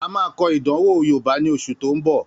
A máa kọ ìdánwò yoòbá ní oṣù tó n bọ̀